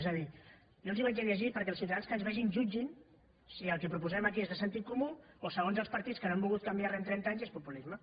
és a dir jo els ho llegiré perquè els ciutadans que ens vegin jutgin si el que proposem aquí és de sentit comú o segons els partits que no han volgut canviar res en trenta anys és populisme